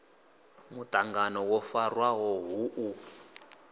muṱangano wo farwaho hu u